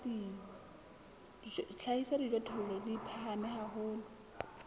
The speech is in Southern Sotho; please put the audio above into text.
hlahisa dijothollo di phahame haholo